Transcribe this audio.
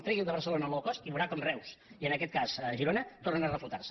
tregui de barcelona el low cost i veurà com reus i en aquest cas girona tornen a reflotar se